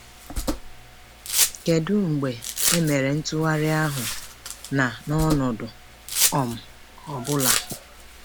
Kedu mgbe e mere ntụgharị ahụ, na n’ọnọdụ um ọ̀ bụla?